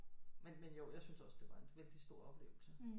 Men jo jeg syntes også det var en vældigt stor oplevelse